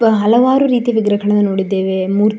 ಹಲವಾರು ರೀತಿಯ ವಿಗ್ರಹಗಳನ್ನು ನೋಡಿದ್ದೇವೆ ಮೂರ್ --